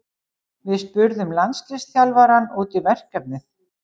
Við spurðum landsliðsþjálfarann út í verkefnið.